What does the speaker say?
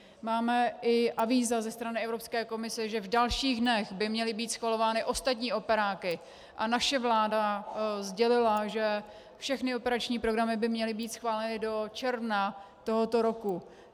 Máme i avíza ze strany Evropské komise, že v dalších dnech by měly být schvalovány ostatní operáky, a naše vláda sdělila, že všechny operační programy by měly být schváleny do června tohoto roku.